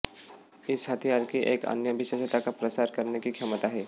इस हथियार की एक अन्य विशेषता का प्रसार करने की क्षमता है